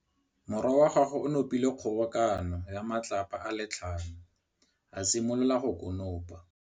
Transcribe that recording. Morwa wa gagwe o nopile kgobokanô ya matlapa a le tlhano, a simolola go konopa.